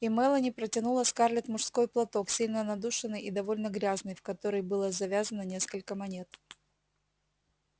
и мелани протянула скарлетт мужской платок сильно надушенный и довольно грязный в который было завязано несколько монет